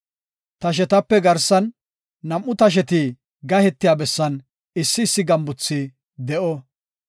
Tashetape garsan, nam7u tasheti gahetiya bessan issi issi gambuthi de7o.